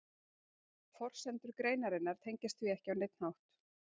Forsendur greinarinnar tengjast því ekki á neinn hátt.